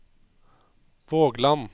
Vågland